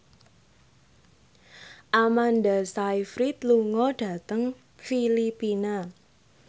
Amanda Sayfried lunga dhateng Filipina